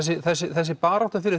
þessi barátta